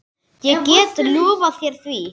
Ég get lofað þér því.